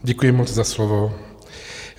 Děkuji moc za slovo.